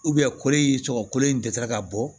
kolo in tɔgɔ kolo in dɛsɛra ka bɔ